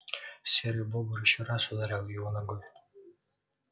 серый бобр ещё раз ударил его ногой